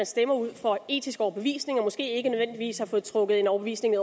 stemmer ud fra etisk overbevisning og måske ikke nødvendigvis har fået trukket en overbevisning